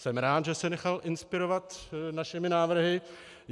Jsem rád, že se nechal inspirovat našimi návrhy.